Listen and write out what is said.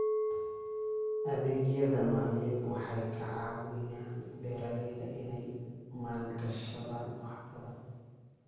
Adeegyada maaliyadeed waxay ka caawiyaan beeralayda inay maalgashadaan wax badan.